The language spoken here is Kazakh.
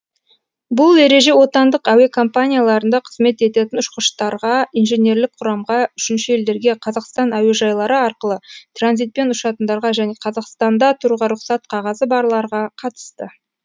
бұл ереже отандық әуе компанияларында қызмет ететін ұшқыштарға инженерлік құрамға үшінші елдерге қазақстан әуежайлары арқылы транзитпен ұшатындарға және қазақстанда тұруға рұқсат қағазы барларға қатысты